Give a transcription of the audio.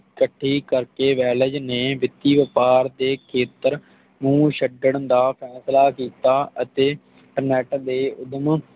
ਚੱਕੀ ਕਰਕੇ ਵੈਲਜ਼ ਨੇ ਵਿੱਤੀ ਵਪਾਰ ਦੇ ਖੇਤਰ ਨੂੰ ਛੱਡਣ ਦਾ ਫੈਸਲਾ ਕੀਤਾ ਅਤੇ ਇੰਟਰਨੇਟ ਦੇ ਊਧਮ